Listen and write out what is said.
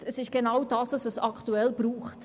Es ist genau das, was es aktuell braucht.